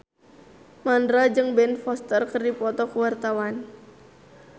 Mandra jeung Ben Foster keur dipoto ku wartawan